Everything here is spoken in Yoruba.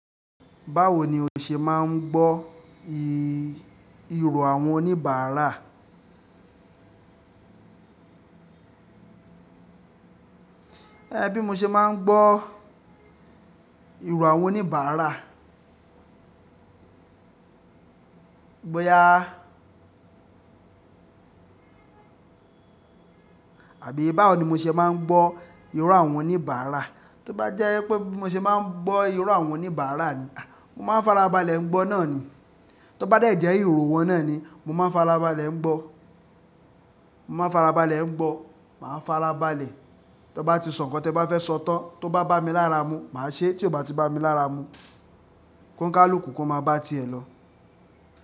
Báwo ni o ṣe máa ń gbọ́ ìrò àwọn oníbàárà? Bí mo ṣe máa ń gbọ́ ìró àwọn oníbàárà. Bóyá. Àbí báwo ni mo ṣe máa ń gbọ́ ìró àwọn oníbàárà. Tí ó bá jẹ́ pé mo ṣe máa ń gbọ́ ìró àwọn oníbàárà ni, mo máa ń fara balẹ̀ gbọ́ náà ni. Tó bá jẹ́ ìró wọn náà ni, mo máa ń fara balẹ̀ ń gbọ́, mo máa ń fara balẹ̀ gbọ́. Máa fara balẹ̀. Tẹ bá ti sọ nǹkan tí ẹ bá fẹ́ sọ tán, tó bá bá mi lára mú, màá ṣe, tí ò bá tí bá mi lára mú, kọọni kálùkù kò máa bá à tiẹ̀ lọ.